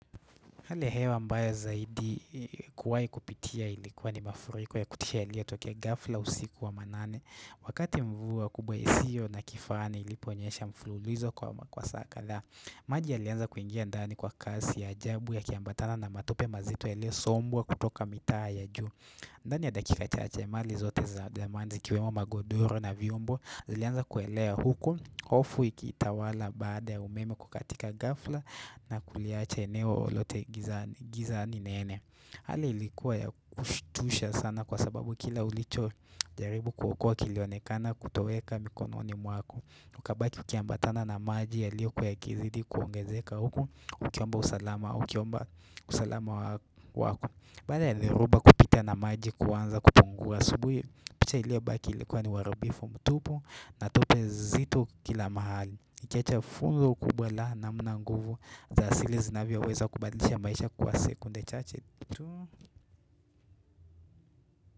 Hali ya hewa mbaya zaidi kuwahi kupitia ilikuwa ni mafuriko ya kutisha yaliyotokea ghafla usiku wa manane. Wakati mvua kubwa isiyo na kifani iliponyesha mfululizo kama masaa kadhaa maji yalianza kuingia ndani kwa kasi ya ajabu yakiambatana na matope mazito yaliyosombwa kutoka mitaa ya juu. Ndani ya dakika chache mali zote za dhamani zikiwemo magodoro na vyombo zilianza kuelea huku, hofu ikitawala baada ya umeme kukatika ghafla na kuliacha eneo lote gizani nene Hali ilikuwa ya kushtusha sana kwa sababu kila ulichojaribu kuokoa kilionekana kutoweka mikononi mwako ukabaki ukiambatana na maji yaliokuwa yakizidi kuongezeka huko Ukiomba usalama, ukiomba usalama wako Baada yaliyoruba kupita na maji kuanza kupungua asubuhi picha iliyobaki ilikuwa ni uharibifu mtupu na tope zito kila mahali ukiacha funzo kubwa la namna nguvu za asili zinavyoweza kubadlisha maisha kwa sekunde chache tu.